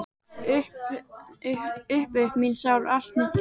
Upp upp mín sál og allt mitt geð!